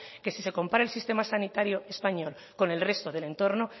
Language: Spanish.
que si se compara el sistema sanitario español con el resto del entorno